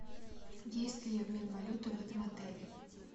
есть ли обмен валюты в этом отеле